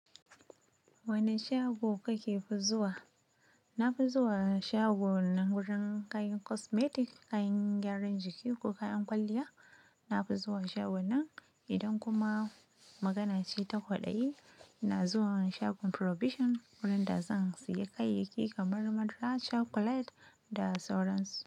Wane shago kake fi zuwa? Na fi zuwa shagon nan wurin kayan cosmetic, kayan gyaran jiki ko kayan kwalliya. Na fi zuwa shagon nan idan kuma maganace ta kwaɗayi, ina zuwa shagon provision wurin da zan sayi kayayyaki kamar madara, chocolate da sauransu.